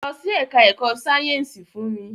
Lọ sí ẹka ẹ̀kọ́ sáyẹnsì fún mi!